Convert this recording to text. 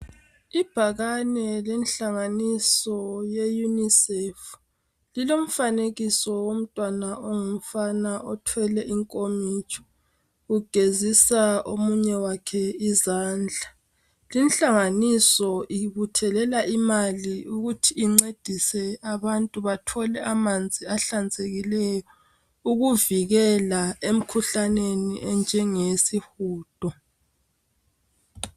Ibhakane lenhlanganiso ye unisefu lilomfanekiso womntwana ongumfana othwele inkomitsho, ugezisa omunye wakhe izandla. Linhlanganiso ibuthelela imali ukuthi incedise abantu bathole amanzi ahlanzekileyo, ukuvikela emkhuhlaneni enjenge yesihudo.